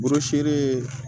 Bɔrɔ seere